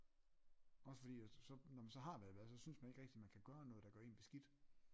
Også fordi at så når man så har været i bad så synes man ikke rigtig man kan gøre noget der gør en beskidt